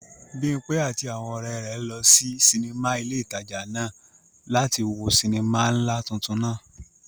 Bimpe àti àwọn ọ̀rẹ́ rẹ̀ sí sinimá ilé ìtajà náà láti wo sinimá ńlá tuntun náà.